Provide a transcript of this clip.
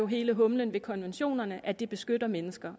hele humlen ved konventionerne at de beskytter mennesker